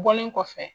Bɔlen kɔfɛ